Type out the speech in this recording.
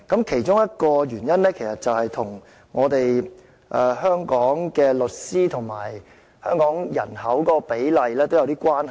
其中一個因素其實與香港的律師與人口比例有一點關係。